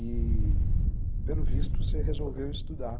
E, pelo visto, você resolveu estudar.